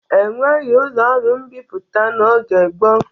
E nweghi ụlọ ọrụ mbipụta n'oge gboo.